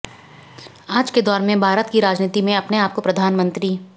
आज के दौर में भारत की राजनीति में अपने आप को प्रधानमंत्री